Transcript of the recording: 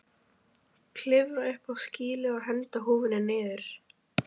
Klifrar upp á skýlið og hendir húfunni niður.